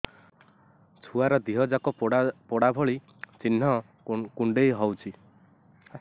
ଛୁଆର ଦିହ ଯାକ ପୋଡା ଭଳି ଚି଼ହ୍ନ କୁଣ୍ଡେଇ ହଉଛି